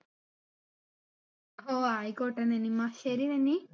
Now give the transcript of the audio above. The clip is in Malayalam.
ഓ ആയിക്കോട്ടെ നനിമ്മ ശരി നനി